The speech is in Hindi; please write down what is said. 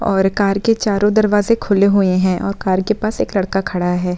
और कार के चारों दरवाज़े खुले हुए है और कार के पास एक लड़का खड़ा है।